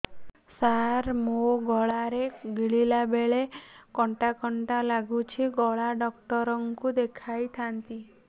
ସାର ମୋ ଗଳା ରେ ଗିଳିଲା ବେଲେ କଣ୍ଟା କଣ୍ଟା ଲାଗୁଛି ଗଳା ଡକ୍ଟର କୁ ଦେଖାଇ ଥାନ୍ତି